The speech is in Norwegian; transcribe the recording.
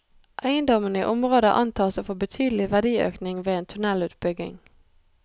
Eiendommene i området antas å få betydelig verdiøkning ved en tunnelutbygging.